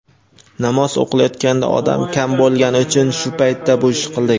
Namoz o‘qilayotganda odam kam bo‘lgani uchun shu paytda bu ishni qildik.